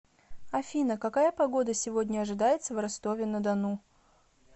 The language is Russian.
афина какая погода сегодня ожидается в ростове на дону